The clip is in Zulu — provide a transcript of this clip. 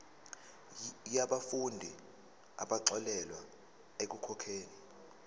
yabafundi abaxolelwa ekukhokheni